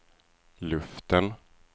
luften